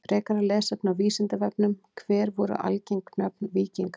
Frekara lesefni á Vísindavefnum: Hver voru algeng nöfn víkinga?